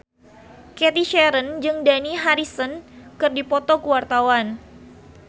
Cathy Sharon jeung Dani Harrison keur dipoto ku wartawan